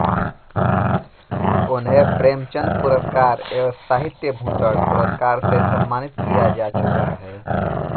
उन्हें प्रेमचन्द पुरस्कर एवं साहित्यभूषण पुरस्कार से सम्मानित किया जा चुका है